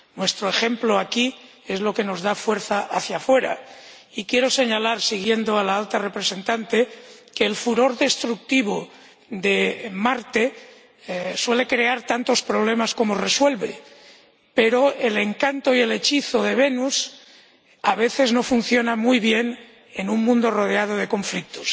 Nuestro ejemplo aquí es lo que nos da fuerza hacia fuera. Y quiero señalar, siguiendo a la Alta Representante, que el furor destructivo de Marte suele crear tantos problemas como resuelve, pero el encanto y el hechizo de Venus a veces no funciona muy bien en un mundo rodeado de conflictos.